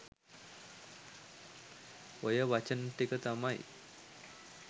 ඔය වචන ටික තමයි